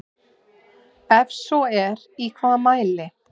Ef svo er í hvaða mæli?